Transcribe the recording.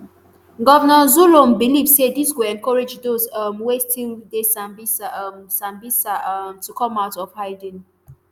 governor zulum believe say dis go encourage dose um wey still dey sambisa um sambisa um to come out of hiding